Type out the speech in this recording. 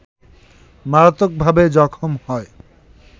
মারাত্মকভাবে জখম হয়